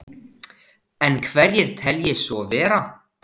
En hverjir telji svo vera?